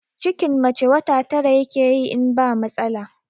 Cikin mace wata tara yakeyi in ba matsala